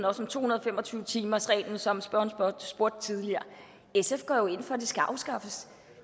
også om to hundrede og fem og tyve timersreglen som spørgeren spurgte om tidligere sf går jo ind for at det skal afskaffes